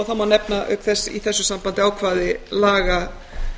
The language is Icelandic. það má nefna auk þess í þessu sambandi ákvæði laga